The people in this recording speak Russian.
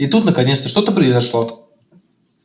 и тут наконец-то что-то произошло